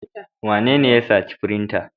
Wanene ya sace firinta?